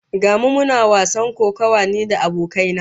Ga mu muna wasan kokawa ni da abokai na